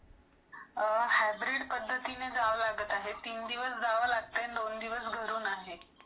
अ hybrid पद्धतीने जावा लागत आहेत तीन दिवस जावा लागते , दोन दिवस घरातून आहे .